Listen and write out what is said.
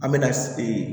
An bɛ na ee